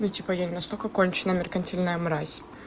ну типа я не настолько конченая меркантильная мразь